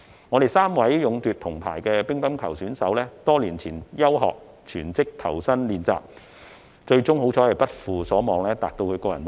我們3位勇奪銅牌的乒乓球選手在多年前休學全職投身練習，幸好最終不負所望，達至其個人目標。